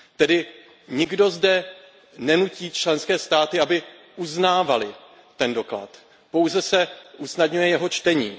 Tedy nikdo zde nenutí členské státy, aby uznávaly ten doklad, pouze se usnadňuje jeho čtení.